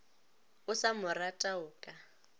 o sa morata o ka